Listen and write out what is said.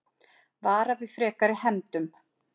Vara við frekari hefndum